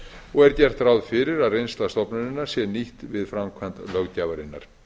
og er gert ráð fyrir að reynsla stofnunarinnar sé nýtt við framkvæmd löggjafarinnar